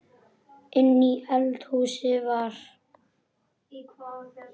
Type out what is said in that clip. Inni í eldhúsi var